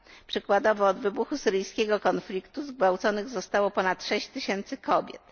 Przykładowo od wybuchu syryjskiego konfliktu zgwałconych zostało ponad 6 tysięcy kobiet.